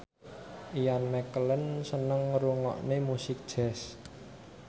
Ian McKellen seneng ngrungokne musik jazz